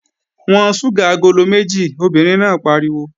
Wọ́n ṣúgà agolo méjì! Obìnrin náà pariwo.